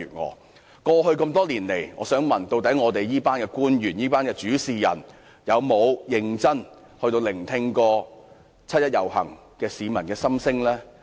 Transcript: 我想問，過去多年來，這群官員或主事人有否認真聆聽七一遊行市民的心聲？